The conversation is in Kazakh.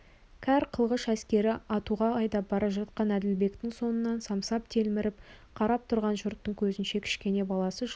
кәр қылғыш әскері атуға айдап бара жатқан әділбектің соңынан самсап телміріп қарап тұрған жұрттың көзінше кішкене баласы жылап